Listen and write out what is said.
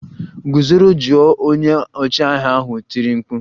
Gụzoro jụụ! Onye ọchịagha ahụ tiri mkpu